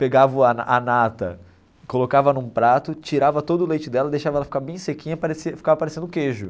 Pegava o a a nata, colocava num prato, tirava todo o leite dela, deixava ela ficar bem sequinha parecia, ficava parecendo queijo.